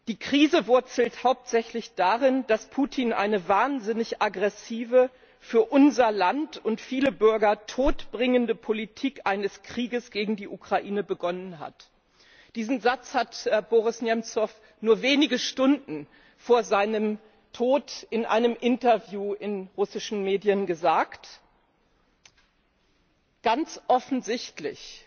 Die Krise wurzelt hauptsächlich darin, dass Putin eine wahnsinnig aggressive, für unser Land und viele Bürger todbringende Politik eines Krieges gegen die Ukraine begonnen hat. Diesen Satz hat Boris Nemzow nur wenige Stunden vor seinem Tod in einem Interview in russischen Medien gesagt. Ganz offensichtlich